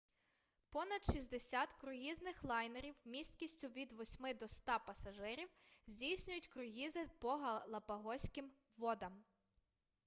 понад 60 круїзних лайнерів місткістю від 8 до 100 пасажирів здійснюють круїзи по галапагоським водам